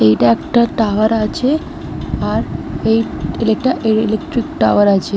এইটা একটা টাওয়ার আছে আর এই এইটা ইলেকট্রিক টাওয়ার আছে ।